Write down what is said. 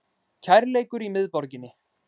Kærleikur í miðborginni